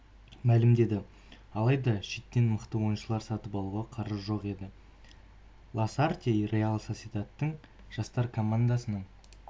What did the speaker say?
мәлімдеді алайда шеттен мықты ойыншылар сатып алуға қаржы жоқ еді ласарте реал сосьедадтың жастар командасының